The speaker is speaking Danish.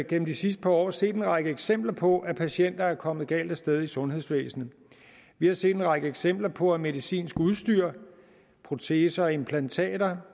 gennem det sidste par år set en række eksempler på at patienter er kommet galt af sted i sundhedsvæsenet vi har set en række eksempler på at medicinsk udstyr proteser og implantater